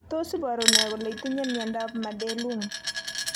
Tos iporu ne kole itinye miondap Madelung?